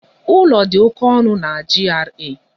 Ụlọ dị oké ọnụ na GRA.